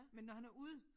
Men når han er ude